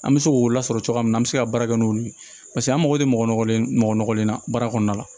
An bɛ se k'o lasɔrɔ cogoya min na an bɛ se ka baara kɛ n'olu ye paseke an mago bɛ mɔgɔ nɔgɔlen mɔgɔlen na baara kɔnɔna la